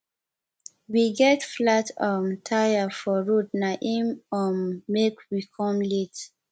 we get flat um tire for road na im um make we come late